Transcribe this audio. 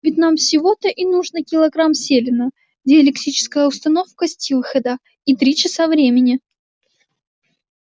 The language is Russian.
ведь нам всего-то и нужно килограмм селена диэлектическая установка стиллхэда и три часа времени